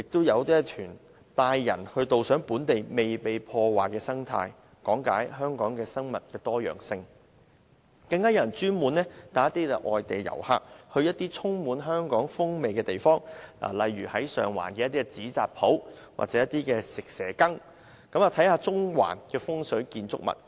此外，有團體會安排導賞本地未被破壞的生態，講解香港的生物多樣性，更有人會專門帶外地遊客前往一些充滿香港風味的地方，例如到上環的紙扎鋪、蛇羹店，以及到中環看看風水建築物。